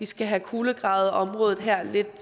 skal have kulegravet området her lidt